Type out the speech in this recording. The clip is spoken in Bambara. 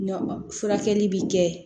Ɲɔ furakɛli bi kɛ